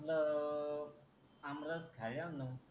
आमरस खायले या ना मग